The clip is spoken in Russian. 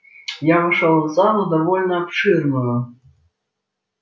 я вошёл в залу довольно обширную